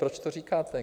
Proč to říkáte?